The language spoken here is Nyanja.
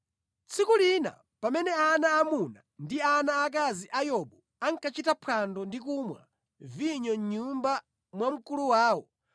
Tsiku lina pamene ana aamuna ndi ana aakazi a Yobu ankachita phwando ndi kumwa vinyo mʼnyumba mwa mkulu wawo,